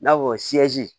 I n'a fɔ